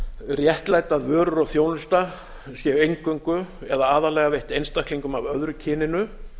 réttlæta að vörur og þjónusta séu eingöngu eða aðallega veitt einstaklingum af öðru kyninu